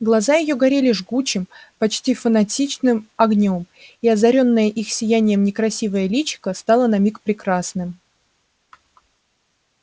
глаза её горели жгучим почти фанатичным огнём и озарённое их сиянием некрасивое личико стало на миг прекрасным